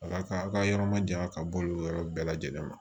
Ala ka aw ka yɔrɔ ma janya ka bɔ olu yɔrɔ bɛɛ lajɛlen ma